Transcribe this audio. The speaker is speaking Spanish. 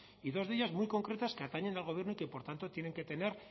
y dos de ellas muy concretas que atañen al gobierno y que por tanto tienen que tener